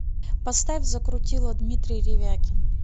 поставь закрутило дмитрий ревякин